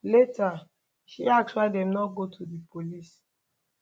later she ask why dem no go to di police